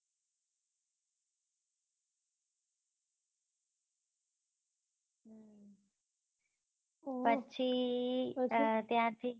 પછી અર ત્યાં થી